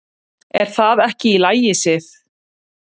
"""Er það ekki í lagi, Sif?"""